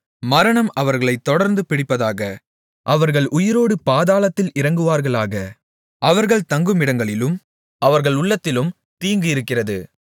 மரணம் அவர்களைத் தொடர்ந்து பிடிப்பதாக அவர்கள் உயிரோடு பாதாளத்தில் இறங்குவார்களாக அவர்கள் தங்குமிடங்களிலும் அவர்கள் உள்ளத்திலும் தீங்கு இருக்கிறது